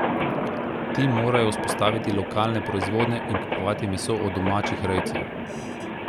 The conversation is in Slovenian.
Ti morajo vzpostaviti lokalne proizvodnje in kupovati meso od domačih rejcev.